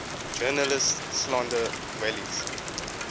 journalists slander welles